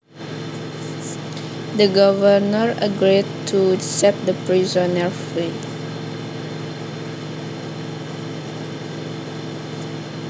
The governor agreed to set the prisoner free